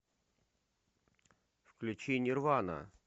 включи нирвана